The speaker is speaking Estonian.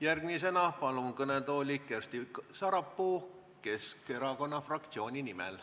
Järgmisena palun kõnetooli Kersti Sarapuu Keskerakonna fraktsiooni nimel.